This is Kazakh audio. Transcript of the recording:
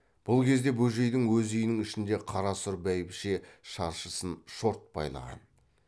бұл кезде бөжейдің өз үйінің ішінде қара сұр бәйбіше шаршысын шорт байлаған